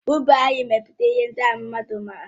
Ubi anyị mepụtara ihe ndị ahụ mmadụ mma.